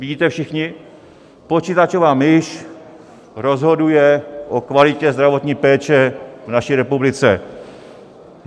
Vidíte všichni, počítačová myš rozhoduje o kvalitě zdravotní péče v naší republice.